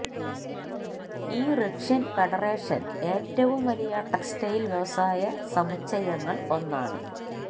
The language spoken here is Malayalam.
ഈ റഷ്യൻ ഫെഡറേഷൻ ഏറ്റവും വലിയ ടെക്സ്റ്റൈൽ വ്യവസായ സമുച്ചയങ്ങൾ ഒന്നാണ്